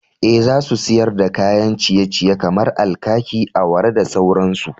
Eh, za su siyar da kayan ciye-ciye kamar alkaki, awara da sauransu.